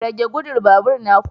Rage gudu babur na ku.